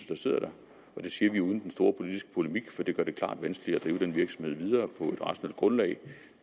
der sidder og det siger vi uden den store politiske polemik for det gør det klart vanskeligere at drive den virksomhed videre på et rationelt grundlag